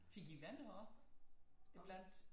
Fik i venner op iblandt?